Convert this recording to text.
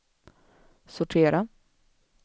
sortera